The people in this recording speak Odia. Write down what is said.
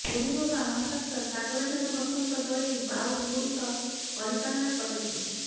ପୁରୁରବା ମହାପାତ୍ର ସାଗର ଜେନା ବସନ୍ତ ଦଳେଇ ବାଉଟ୍ ଗୁଡ଼ିକ ପରିଚାଳନା କରିଥିଲେ